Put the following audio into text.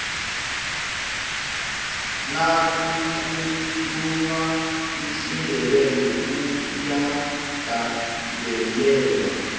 nakukhulunywa isindebele kuyagandelelwa